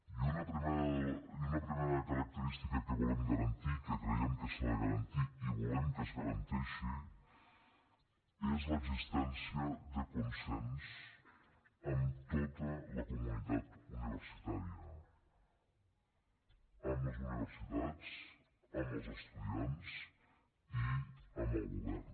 i una primera característica que volem garantir que creiem que s’ha de garantir i volem que es garanteixi és l’existència de consens amb tota la comunitat universitària amb les universitats amb els estudiants i amb el govern